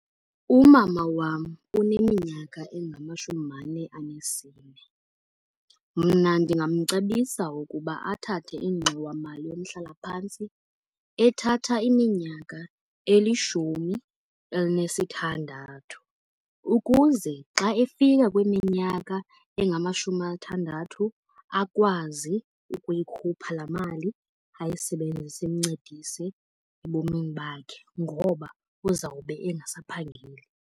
UMama wam uneminyaka engamashumi mane anesine. Mna ndingamcebisa ukuba athathe ingxowamali yomhlalaphantsi ethatha iminyaka elishumi elinesithandathu, ukuze xa efika kwiminyaka engamashumi amathandathu akwazi ukuyikhupha laa mali ayisebenzise imncedise ebomini bakhe ngoba uzawube engasaphangeli.